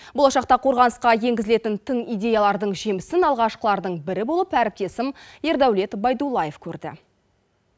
болашақта қорғанысқа енгізілетін тың идеялардың жемісін алғашқылардың бірі болып әріптесім ердәулет байдуллаев көрді